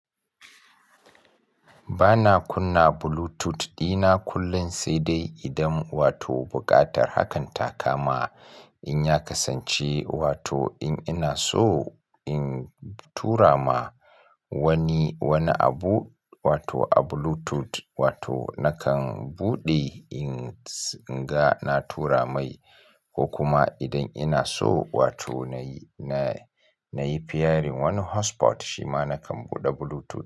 Ba na kunna Bluetooth dina kullum sai dai idan wato buƙatar hakan ta kama. In ya kasance wato in ina so in tura ma wani, wani abu wato a Bluetooth wato nakan buɗe. Ins, in ga na tura mai ko kuma idan ina so wato na yi, na, na yi pairing wani hotspot shi ma nakan buɗe Bluetooth.